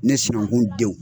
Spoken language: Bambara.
Ne sununkun denw